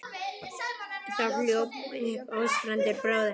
Þá hljóp upp Ásbrandur bróðir hans.